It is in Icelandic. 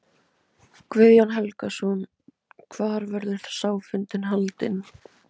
Guðjón Helgason: Hvar verður sá fundur haldinn?